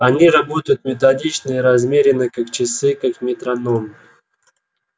они работают методично и размеренно как часы как метроном